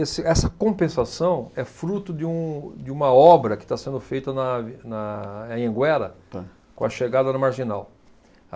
Esse, essa compensação é fruto de um, de uma obra que está sendo feita na ave, na Anhanguera com a chegada da Marginal.